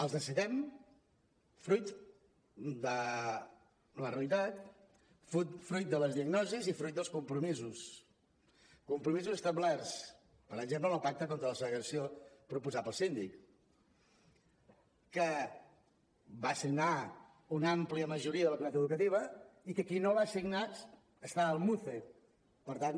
els necessitem fruit de la realitat fruit de les diagnosis i fruit dels compromisos compromisos establerts per exemple en el pacte contra la segregació proposat pel síndic que va signar una àmplia majoria de la comunitat educativa i que qui no el va signar està al muce per tant